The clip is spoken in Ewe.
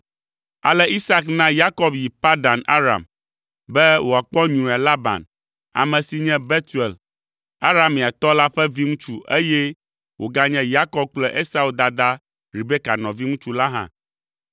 Ale Isak na Yakob yi Padan Aram be wòakpɔ nyruia Laban, ame si nye Betuel Arameatɔ la ƒe viŋutsu eye wòganye Yakob kple Esau dadaa Rebeka nɔviŋutsu la ɖa.